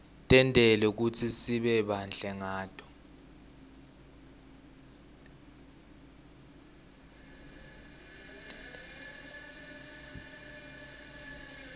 tentelwe kutsisibe bahle ngato